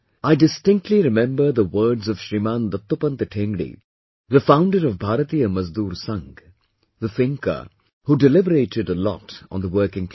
I distinctly remember the words of Shriman Dattopant Thengdi, the founder of Bharatiya Mazdoor Sangh, the thinker, who deliberated a lot on the working class